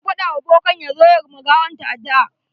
Mun faɗa wa bokan ya zo ya ma gawanta addu'a.